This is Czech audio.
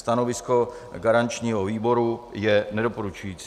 Stanovisko garančního výboru je nedoporučující.